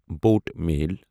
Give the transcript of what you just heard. boat mail